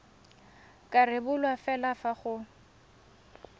ka rebolwa fela fa go